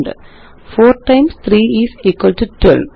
4 times 3 is equal to 12